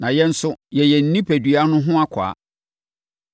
na yɛn nso yɛyɛ ne onipadua no ho akwaa.